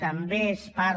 també n’és part